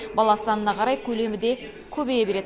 бала санына қарай көлемі де көбейе береді